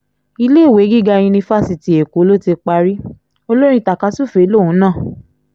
iléèwé gíga yunifásitì èkó ló ti parí olórin tajà-sùfèé lòun náà